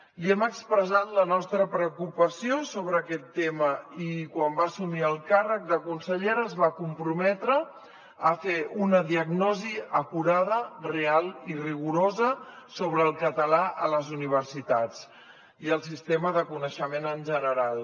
li hem expressat la nostra preocupació sobre aquest tema i quan va assumir el càrrec de consellera es va comprometre a fer una diagnosi acurada real i rigorosa sobre el català a les universitats i el sistema de coneixement en general